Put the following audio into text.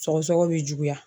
Sɔgɔsɔgɔ bɛ juguya